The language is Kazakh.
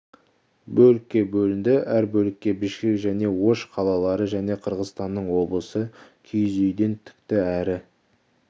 бөлікке бөлінді әр бөлікке бішкек және ош қалалары және қырғызстанның облысы киіз үйден тікті әрі